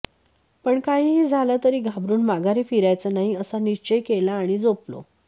पण काहीही झालं तरी घाबरून माघारी फिरायचं नाही असा निश्चय केला आणि झोपलो